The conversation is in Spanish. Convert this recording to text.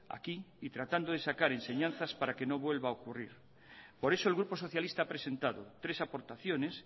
aquí y tratando de sacar enseñanzas para que no vuelva a ocurrir por eso el grupo socialista ha presentado tres aportaciones